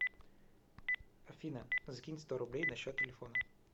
афина закинь сто рублей на счет телефона